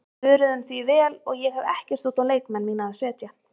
Við svöruðum því vel og ég hef ekkert út á leikmenn mína að setja.